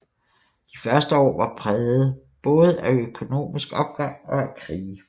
De første år var prægede både af økonomisk opgang og af krige